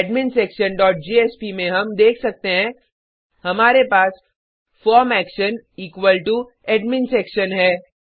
admin section dot JSP में हम देख सकते हैं हमारे पास form action equal to admin section है